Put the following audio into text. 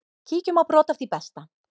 Kíkjum á brot af því besta.